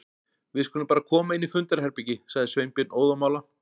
Við skulum bara koma inn í fundarherbergi- sagði Sveinbjörn óðamála.